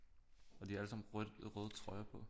Og de har allesammen rødt røde trøjer på